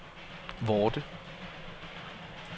Vorde